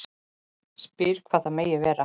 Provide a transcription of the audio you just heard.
Spyr hvað það megi vera.